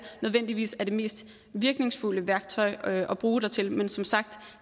nødvendigvis er det mest virkningsfulde værktøj at bruge dertil men som sagt